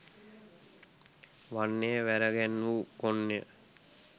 වන්නේ වැරගැන්වූ කොන්ය